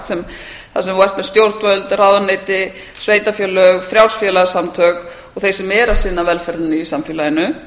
sem þú ert með stjórnvöld ráðuneyti sveitarfélög frjáls félagasamtök og þeir sem eru að sinna velferðinni í samfélaginu